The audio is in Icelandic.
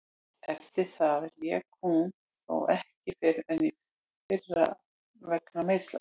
Eftir það lék hún þó ekki fyrr en í fyrra vegna meiðsla.